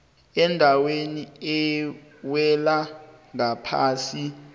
endaweni ewela ngaphasi